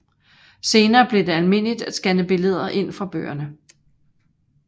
Senere blev det almindeligt at scanne billederne ind fra bøgerne